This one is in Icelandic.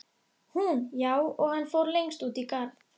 Hún: Já, og hann fór lengst út í garð.